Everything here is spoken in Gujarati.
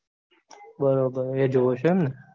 બરોબર એ જોવો છો એમને.